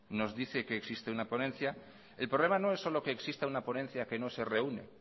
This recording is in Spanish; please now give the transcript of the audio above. nos dice que existe una ponencia el problema no es solo que exista una ponencia que no se reúne